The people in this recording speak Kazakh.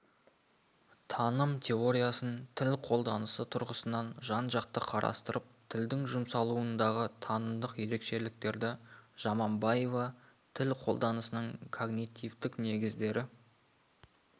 таным теориясын тіл қолданысы тұрғысынан жан-жақты қарастырып тілдің жұмсалуындағы танымдық ерекшеліктерді жаманбаева тіл қолданысының когнитивтік негіздері